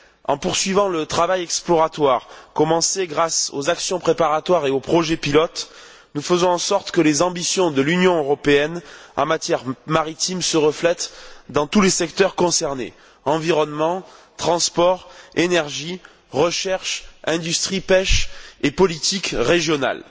En poursuivant le travail exploratoire commencé grâce aux actions préparatoires et aux projets pilotes, nous faisons en sorte que les ambitions de l'Union européenne en matière maritime se reflètent dans tous les secteurs concernés environnement, transport, énergie, recherche, industrie, pêche et politique régionale.